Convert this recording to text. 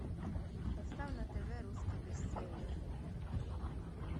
поставь на тв русский бестселлер